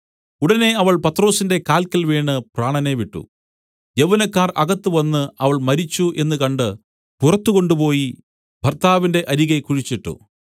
ഉടനെ അവൾ പത്രൊസിന്റെ കാൽക്കൽ വീണ് പ്രാണനെ വിട്ടു യൗവനക്കാർ അകത്ത് വന്ന് അവൾ മരിച്ചു എന്ന് കണ്ട് പുറത്തു കൊണ്ടുപോയി ഭർത്താവിന്റെ അരികെ കുഴിച്ചിട്ടു